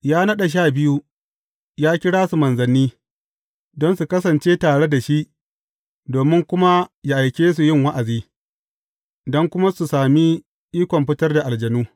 Ya naɗa sha biyu, ya kira su manzanni don su kasance tare da shi, domin kuma yă aike su yin wa’azi, don kuma su sami ikon fitar da aljanu.